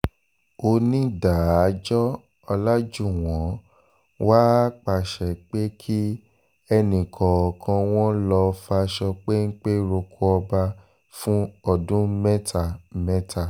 onídàájọ́ ọ̀làjúwọ̀n wàá pàṣẹ pé kí ẹnì kọ̀ọ̀kan wọn lọ́ọ́ faṣọ péńpẹ́ roko ọba fún ọdún mẹ́ta mẹ́ta